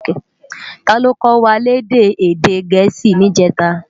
Táló kòwá lèdè èdè Gẹẹsi nijètá?